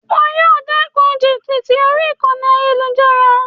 Wo yíì o dékun jìbìtì orí ayélujára